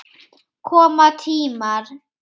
Koma tímar!